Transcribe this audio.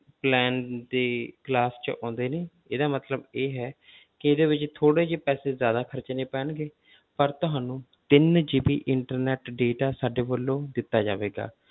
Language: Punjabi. Plan ਦੀ class 'ਚ ਆਉਂਦੇ ਨੇ ਇਹਦਾ ਮਤਲਬ ਇਹ ਹੈ ਕਿ ਇਹਦੇ ਵਿੱਚ ਥੋੜ੍ਹੇ ਜਿਹੇ ਪੈਸੇ ਜ਼ਿਆਦਾ ਖ਼ਰਚਣੇ ਪੈਣਗੇ ਪਰ ਤੁਹਾਨੂੰ ਤਿੰਨ GB internet data ਸਾਡੇ ਵੱਲੋਂ ਦਿੱਤਾ ਜਾਵੇਗਾ।